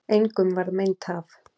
Engum varð meint af.